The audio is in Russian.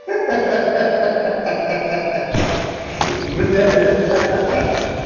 ха-ха-ха блядь ха-ха-ха